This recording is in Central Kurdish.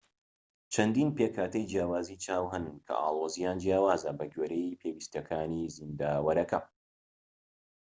چەندین پێکهاتەی جیاوازی چاو هەن کە ئاڵۆزیان جیاوازە بە گوێرەی پێویستیەکانی زیندەوەرەکە